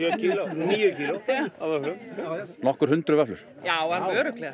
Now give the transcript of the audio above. níu kíló nokkur hundruð vöfflur já alveg örugglega